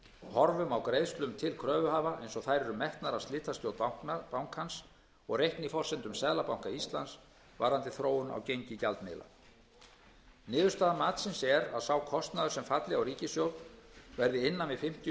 horfum á greiðslum til kröfuhafa eins og þær eru metnar af slitastjórn bankans og reikniforsendum seðlabanka íslands varðandi þróun á gengi gjaldmiðla niðurstaða matsins er að sá kostnaður sem falli á ríkissjóð verði innan við fimmtíu